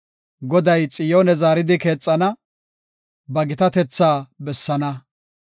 Goday Xiyoone zaaridi keexana; ba gitatetha bessana.